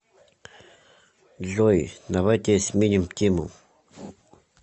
джой давайте сменим тему